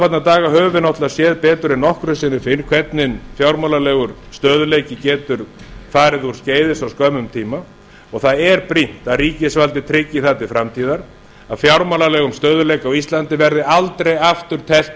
höfum við náttúrlega séð betur en nokkru sinni fyrr hvernig fjármálalegur stöðugleiki getur farið úrskeiðis á skömmum tíma og það er brýnt að ríkisvaldið tryggi það til framtíðar að fjármálalegum stöðugleika á íslandi verði aldrei aftur teflt